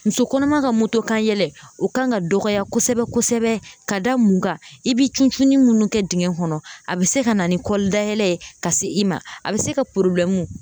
Muso kɔnɔma ka kanyɛlɛ o kan ka dɔgɔya kosɛbɛ kosɛbɛ ka da mun kan i bi ccunni minnu kɛ dingɛ kɔnɔ a be se ka na ni kɔli dayɛlɛ ye ka se i ma a bɛ se ka